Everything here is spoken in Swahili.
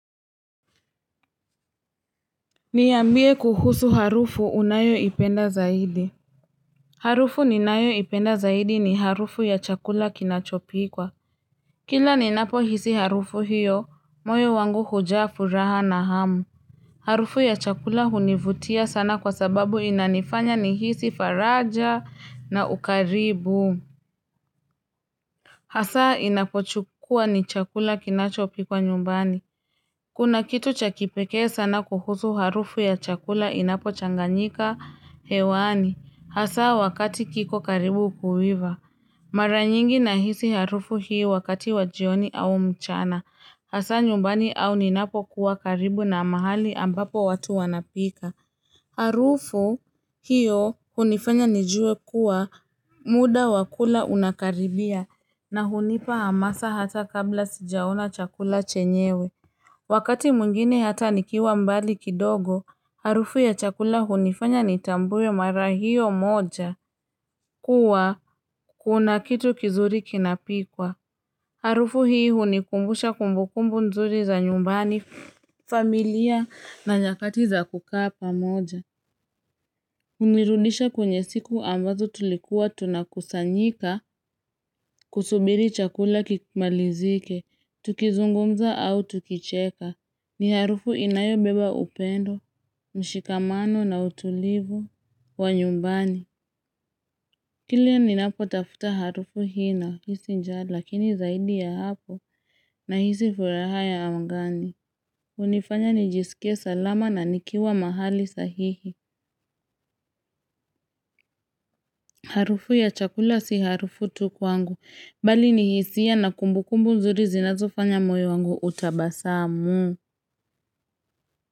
Niyambie kuhusu harufu unayo ipenda zaidi Harufu ninayo ipenda zaidi ni harufu ya chakula kinachopikwa Kila ninapo hisi harufu hiyo moyo wangu hujafu raha na hamu Harufu ya chakula hunivutia sana kwa sababu inanifanya nihisi faraja na ukaribu Hasaa inapochukua ni chakula kinachopikwa nyumbani Kuna kitu chakipeke sana kuhusu harufu ya chakula inapo changanyika hewani hasa wakati kiko karibu kuhiva. Mara nyingi nahisi harufu hii wakati wajioni au mchana hasa nyumbani au ninapo kuwa karibu na mahali ambapo watu wanapika. Harufu hiyo hunifanya nijue kuwa muda wakula unakaribia na hunipa hamasa hata kabla sijaona chakula chenyewe. Wakati mwingine hata nikiwa mbali kidogo, harufu ya chakula hunifanya nitambwe mara hio moja. Kuwa, kuna kitu kizuri kinapikwa. Harufu hii hunikumbusha kumbukumbu nzuri za nyumbani familia na nyakati za kukapa moja. Unirudisha kwenye siku ambazo tulikuwa tunakusanyika kusubiri chakula kimalizike, tukizungumza au tukicheka. Ni harufu inayo beba upendo, mshikamano na utulivu wa nyumbani. Kilian ni napo tafuta harufu hii na hisi njaa, lakini zaidi ya hapo nahisi furaha ya amgani. Unifanya nijisikia salama na nikiwa mahali sahihi. Harufu ya chakula si harufu tu kwangu. Bali ni hisia na kumbu kumbu nzuri zinazofanya moyo wangu utabasamu.